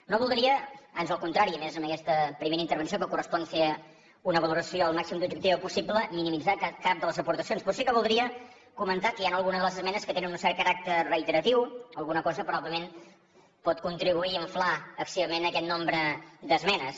no voldria ans al contrari i més en aquesta primera intervenció en què correspon fer una valoració al màxim d’objectiva possible minimitzar cap de les aportacions però sí que voldria comentar que hi ha alguna de les esmenes que té un cert caràcter reiteratiu alguna cosa probablement pot contribuir a inflar excessivament aquest nombre d’esmenes